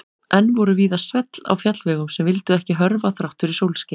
Enn voru víða svell á fjallvegum sem vildu ekki hörfa þrátt fyrir sólskin.